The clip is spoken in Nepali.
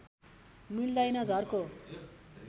मिल्दैन झर्को